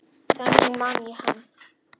Þannig man ég hann.